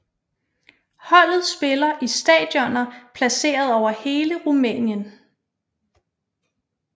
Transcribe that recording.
Holdet spiller i stadioner placeret over hele Rumænien